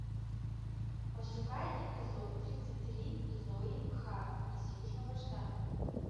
пошукай эпизод тридцать три зои харт из южного штата